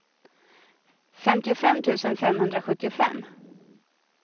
femtiofem tusen femhundrasjuttiofem